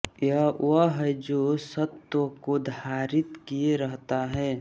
यह वह है जो सत्त्व को धारित किए रहता हैं